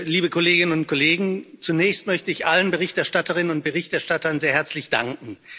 Liebe Kolleginnen und Kollegen, zunächst möchte ich allen Berichterstatterinnen und Berichterstattern sehr herzlich danken.